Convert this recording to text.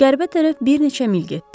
Qəribə tərəf bir neçə mil getdi.